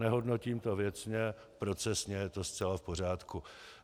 Nehodnotím to věcně, procesně je to zcela v pořádku.